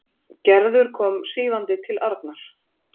Gerður kom svífandi til Arnar.